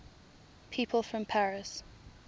people from paris